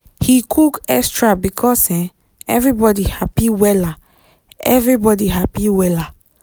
he cook extra because um everybody happy wella. everybody happy wella.